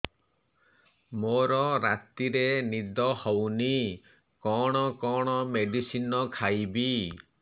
ମୋର ରାତିରେ ନିଦ ହଉନି କଣ କଣ ମେଡିସିନ ଖାଇବି